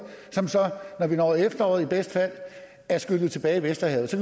som så når vi når efteråret i bedste fald er skyllet tilbage i vesterhavet og så